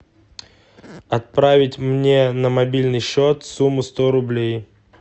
отправить мне на мобильный счет сумму сто рублей